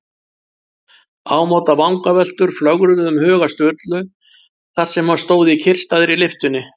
Ámóta vangaveltur flögruðu um huga Sturlu þar sem hann stóð í kyrrstæðri lyftunni.